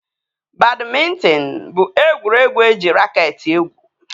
Badmịntịn bụ egwuregwu eji raket egwu